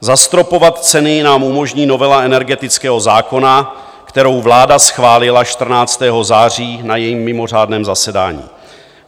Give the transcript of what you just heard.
Zastropovat ceny nám umožní novela energetického zákona, kterou vláda schválila 14. září na svém mimořádném zasedání.